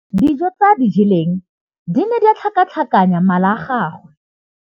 Dijô tse a di jeleng di ne di tlhakatlhakanya mala a gagwe.